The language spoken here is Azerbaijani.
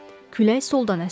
Külək soldan əsirdi.